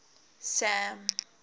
sam